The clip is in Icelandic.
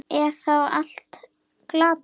Er þá allt glatað?